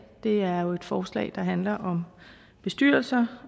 er et forslag der handler om bestyrelser